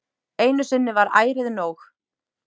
Einu sinni var ærið nóg.